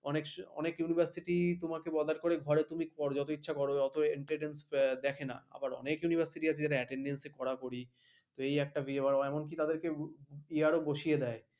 অনেক অনেক university তোমাকে বদাদ করে ঘরে তুমি করো যত ইচ্ছে গত importnace দেখেনা, আবার অনেক university আছে attendence করাকরি সেই একটা বিয়ে এবার এমন কি আরও বসিয়ে দেয়